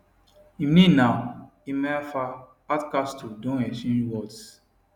im name na emeafa hardcastle don exchange words